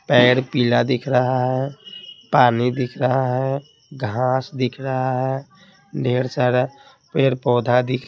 पेड़ पीला दिख रहा है पानी दिख रहा है घास दिख रहा है ढेर सारा पैर-पौधा दिख --